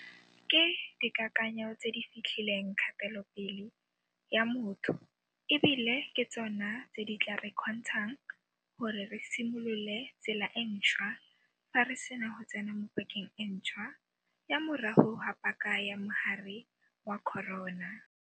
Ke dikakanyo tse di fetlhileng kgatelopele ya motho e bile ke tsona tse di tla re kgontshang gore re simolole tsela e ntšhwa fa re sena go tsena mo pakeng e ntšhwa ya morago ga paka ya mogare wa corona.